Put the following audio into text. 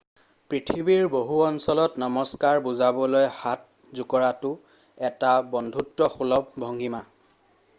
পৃথিৱীৰ বহু অঞ্চলত নমস্কাৰ বুজাবলৈ হাত জোকৰাটো এটা বন্ধুত্বসুলভ ভঙ্গীমা